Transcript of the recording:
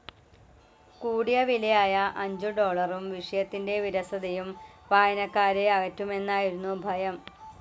കൂടിയവിലയായ അഞ്ചു ഡോളറും, വിഷയത്തിൻ്റെ വിരസതയും വായനക്കാരെ അകറ്റുമെന്നായിരുന്നു ഭയം.